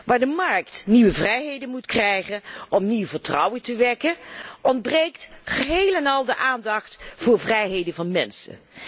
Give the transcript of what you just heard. Waar de markt nieuwe vrijheden moet krijgen om nieuw vertrouwen te wekken ontbreekt geheel en al de aandacht voor vrijheden van mensen.